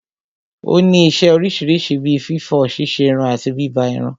Ó ní isẹ́ oríṣiríṣi bí fífọ̀, ṣíṣerun àti bíbá irun.